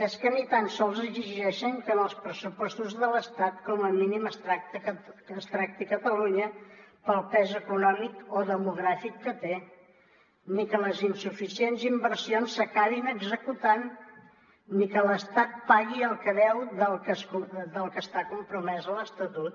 és que ni tan sols exigeixen que en els pressupostos de l’estat com a mínim es tracti catalunya pel pes econòmic o demogràfic que té ni que les insuficients inversions s’acabin executant ni que l’estat pagui el que deu del que està compromès a l’estatut